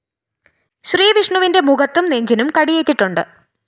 ശ്രീവിഷ്ണുവിന്റെ മുഖത്തും നെഞ്ചിനും കടിയേറ്റിട്ടുണ്ട്